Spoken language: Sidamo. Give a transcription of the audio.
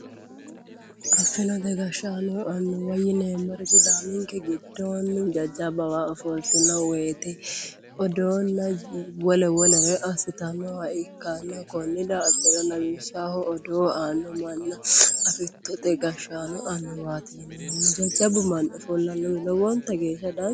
Afantino annuwa yineemmori sidaaminke giddo jajjabbawa ofoltinoreeti odoonna wole wolera assitannoha ikkanna konni daafira lawishaho afittote gashshaano annuwaati yinanni jajjabbu manni ofollannohu lowonta geeshsha danchaho.